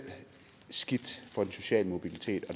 skidt for den sociale mobilitet og